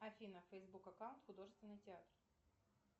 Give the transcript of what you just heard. афина фейсбук аккаунт художественный театр